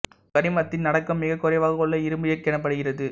கரிமத்தின் அடக்கம் மிகக் குறைவாக உள்ள இரும்பு எஃகு எனப்படுகிறது